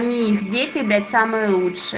у них дети блять самые лучше